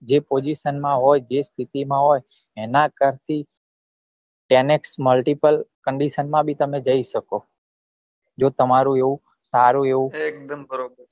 જે position માં જે સ્થિતિ માં હોય એના કરત ten x multiple condition બી તમે જઈ શકો જો તમારું એવું સારું એવું